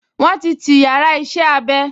Wọ́n ti ti yàrá iṣẹ́-abẹ